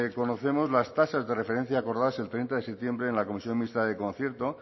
conocemos las tasas de referencia acordadas el treinta de septiembre en la comisión mixta del concierto